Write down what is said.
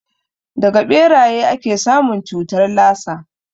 Daga ɓeraye ake samun cutar lasa